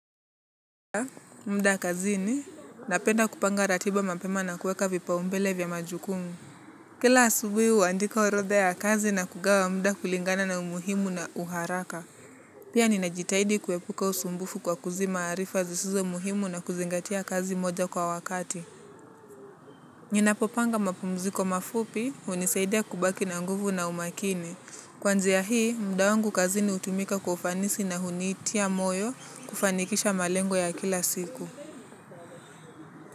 Muda kazini, napenda kupanga ratiba mapema na kueka vipaumbele vya majukumu. Kila asubuhi huandika orodha ya kazi na kugawa muda kulingana na umuhimu na uharaka. Pia ninajitahidi kuepuka usumbufu kwa kuzima arifa zisizo muhimu na kuzingatia kazi moja kwa wakati. Ninapopanga mapumziko mafupi, hunisaidia kubaki na nguvu na umakini. Kwanzia hii, muda wangu kazini hutumika kwa ufanisi na hunitia moyo kufanikisha malengo ya kila siku.